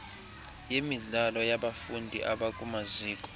yemidlalo yabafundi abakumaziko